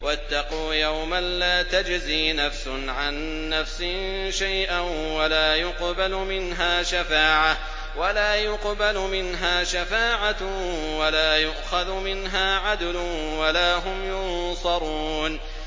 وَاتَّقُوا يَوْمًا لَّا تَجْزِي نَفْسٌ عَن نَّفْسٍ شَيْئًا وَلَا يُقْبَلُ مِنْهَا شَفَاعَةٌ وَلَا يُؤْخَذُ مِنْهَا عَدْلٌ وَلَا هُمْ يُنصَرُونَ